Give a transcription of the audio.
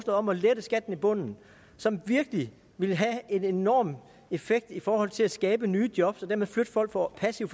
om at lette skatten i bunden som virkelig ville have en enorm effekt i forhold til at skabe nye job og dermed flytte folk fra passiv